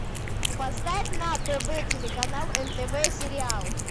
поставь на тв телеканал нтв сериал